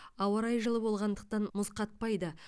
ауа райы жылы болғандықтан мұз қатпайды